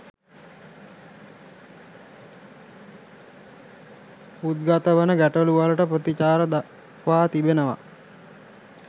උද්ගතවෙන ගැටළු වලට ප්‍රතිචාර දක්වා තිබෙනවා